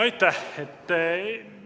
Aitäh!